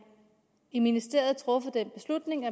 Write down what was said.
i ministeriet truffet den beslutning